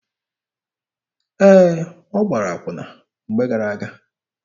Ee, ọ gbara akwụna mgbe gara-aga.